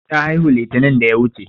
Ta haihu litinin da ya wuche.